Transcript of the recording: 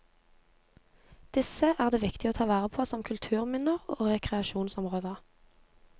Disse er det viktig å ta vare på som kulturminner og rekreasjonsområder.